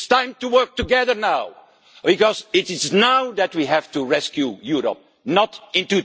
it's time to work together, because it is now that we have to rescue Europe not in